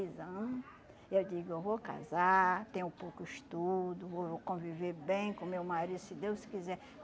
ano. Eu digo, eu vou casar, tenho pouco estudo, vou vou conviver bem com meu marido, se Deus quiser.